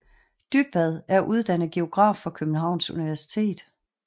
Dybvad er uddannet geograf fra Københavns Universitet